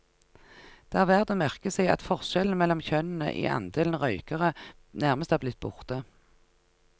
Det er verd å merke seg at forskjellen mellom kjønnene i andelen røykere nærmest er blitt borte.